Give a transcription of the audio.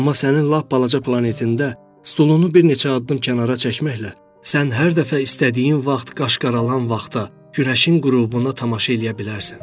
Amma sənin lap balaca planetində stulunu bir neçə addım kənara çəkməklə sən hər dəfə istədiyin vaxt qaşqalanan vaxta, günəşin qürubuna tamaşa eləyə bilərsən.